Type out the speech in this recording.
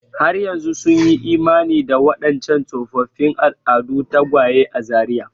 Har yanzu sun yi imani da waɗancan tsofaffin al'adun tagwaye a Zaria.